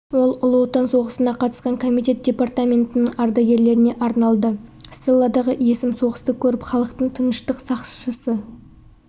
ол ұлы отан соғысына қатысқан комитет департаментінің ардагерлеріне арналды стелладағы есім соғысты көріп халықтың тыныштық сақшысы